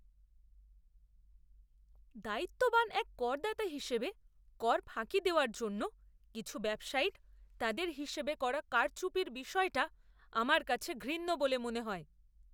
দায়িত্ববান এক করদাতা হিসেবে কর ফাঁকি দেওয়ার জন্য কিছু ব্যবসায়ীর তাদের হিসেবে করা কারচুপির বিষয়টা আমার কাছে ঘৃণ্য বলে মনে হয়।